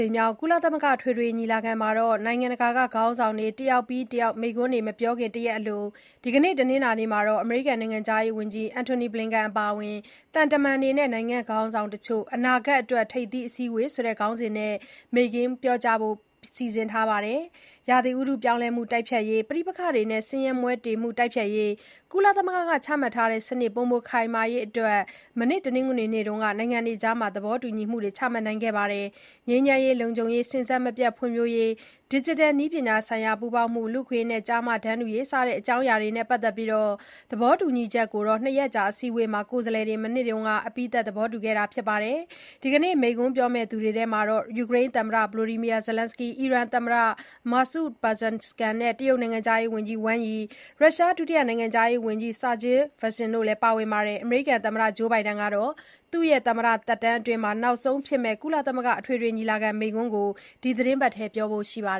ိမ်မြောက် ကုလသမဂ္ဂ အထွေထွေညီလာခံမှာ နိုင်ငံတကာ ခေါင်းဆောင်တွေ တယောက်ပြီးတယောက် မိန့်ခွန်းတွေ မပြောခင် တရက်အလို ဒီကနေ့ တနင်္လာနေ့မှာ အမေရိကန် နိုင်ငံခြားရေးဝန်ကြီး Antony Blinken အပါအဝင် သံတမန်တွေနဲ့ နိုင်ငံခေါင်းဆောင်တချို့ “အနာဂတ်အတွက် ထိပ်သီးအစည်းအဝေး” ဆိုတဲ့ ခေါင်းစဉ်နဲ့ မိန့်ခွန်း ပြောကြားဖို့ စီစဉ်ထားပါတယ်။ ရာသီဥတု ပြောင်းလဲမှု တိုက်ဖျက်ရေး၊ ပဋိပက္ခတွေနဲ့ ဆင်းရဲမွဲတေမှု တိုက်ဖျက်ရေး၊ ကုလသမဂ္ဂက ချမှတ်ထားတဲ့ စနစ် ပိုမိုခိုင်မာရေး အတွက် မနေ့ တနင်္ဂနွေနေ့က နိုင်ငံတွေအကြား သဘောတူညီမှုတွေ ချမှတ်ခဲ့ပါတယ်။ ငြိမ်းချမ်းရေး၊ လုံခြုံရေး၊ စဉ်ဆက်မပြတ် ဖွံ့ဖြိုးရေး၊ ဒီဂျစ်တယ်နည်းပညာဆိုင်ရာ ပူးပေါင်းမှု၊ လူ့အခွင့်အရေးနဲ့ ကျားမတန်းတူရေး စတဲ့ အကြောင်းအရာတွေနဲ့ ပတ်သက်ပြီး အနာဂတ်အတွက် သဘောတူညီချက်ကို နှစ်ရက်ကြာ အစည်းအဝေးမှာ ကိုယ်စားလှယ်တွေ မနေ့က အပြီးသတ် သဘောတူခဲ့ပါတယ်။ ဒီနေ့ မိန့်ခွန်းပြောမယ့်သူတွေမှာ ယူကရိန်း သမ္မတ Volodymyr Zelenskyy၊ အီရန် သမ္မတသစ် Masoud Pezeshkian။ တရုတ် နိုင်ငံခြားရေးဝန်ကြီး Wang Yi နဲ့ ရုရှား ဒုတိယ နိုင်ငံခြားရေးဝန်ကြီး Sergey Vershinin တို့လည်း ပါဝင်ပါတယ်။ အမေရိကန် သမ္မတ Joe Biden ကလည်း သူ့ရဲ့ သမ္မတသက်တမ်းအတွင်း နောက်ဆုံးဖြစ်မယ့် ကုလသမဂ္ဂအထွေထွေညီလာခံမိန့်ခွန်းကို ဒီသတင်းပတ်အတွင်း ပြောဖို့ရှိတာပါ